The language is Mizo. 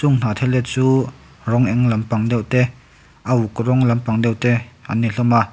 hnahthel te chu rawng eng lampang deuh te a uk rawng lampang deuh te an ni hlawm a--